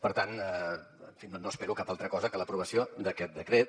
per tant en fi no espero cap altra cosa que l’aprovació d’aquest decret